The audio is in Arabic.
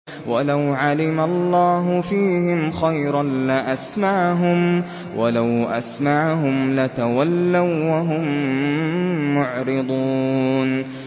وَلَوْ عَلِمَ اللَّهُ فِيهِمْ خَيْرًا لَّأَسْمَعَهُمْ ۖ وَلَوْ أَسْمَعَهُمْ لَتَوَلَّوا وَّهُم مُّعْرِضُونَ